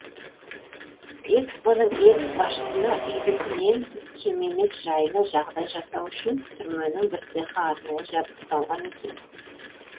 экспо ның экс басшысына үйдікінен кем емес жайлы жағдай жасау үшін түрменің бір цехы арнайы жабдықталған екен